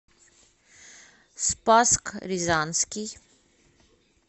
спасск рязанский